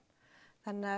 þannig